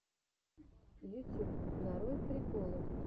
ютюб нарой приколы